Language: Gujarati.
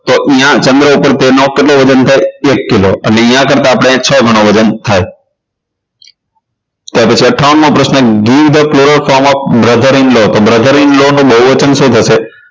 ન્યાં ચંદ્ર પર તેનું કેટલું વજન થાય એક કિલો અને ન્યા કરતાં આપણે છ ઘણું વજન થાય અઠાવન મો પ્રશ્ન give the cloro form of the brother in law તો brother in law નું બહુવચન શું થશે